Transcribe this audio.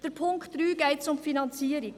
Beim Punkt 3 geht es um die Finanzierung.